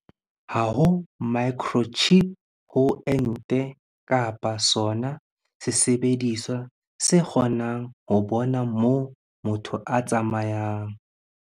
Ha ho microchip ho ente kapa sona sesebediswa se kgo nang ho bona moo motho a tsamayang.